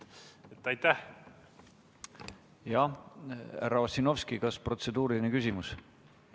Jah, härra Ossinovski, kas protseduuriline küsimus?